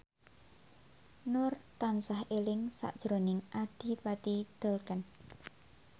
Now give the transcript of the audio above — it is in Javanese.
Nur tansah eling sakjroning Adipati Dolken